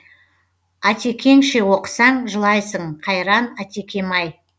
атекеңше оқысаң жылайсың қайран атекем ай